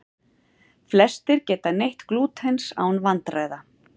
Flestir geta neytt glútens án vandkvæða.